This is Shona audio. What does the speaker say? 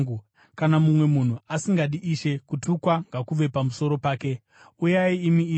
Kana mumwe munhu asingadi Ishe, kutukwa ngakuve pamusoro pake. Uyai, imi Ishe!